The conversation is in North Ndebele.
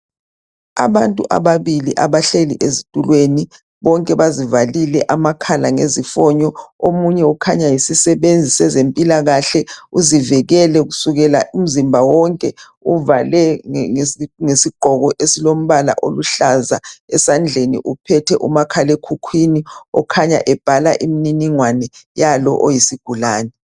Abantu ababili abahleli ezitulweni bonke bazivalile amakhala ngezifonyo omunye ukhanya yizisebenzi sezempilakahle uzivikele kusukela umzimba wonke uvale ngesigqoko esilombala oluhlaza esandleni uphethe umakhalekhukhwini okhanya ebhala imniningwane yalo oyisigulane.